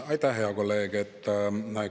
Aitäh, hea kolleeg!